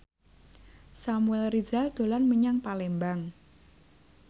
Samuel Rizal dolan menyang Palembang